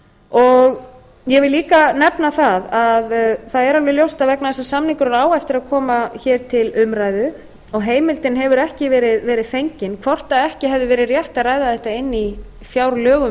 ég vil líka nefna það að það er alveg ljóst að vegna þess að samningurinn á eftir að koma hér til umræðu og heimildin hefur ekki verið fengin hvort ekki hefði verið rétt að ræða þetta inni í fjárlögum